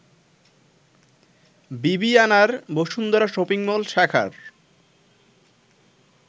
বিবিআনার Bashundhara shopping mall শাখার